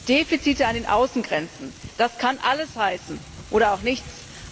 Defizite an den Außengrenzen, das kann alles heißen oder auch nichts.